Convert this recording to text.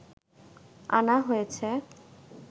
আনা হয়েছে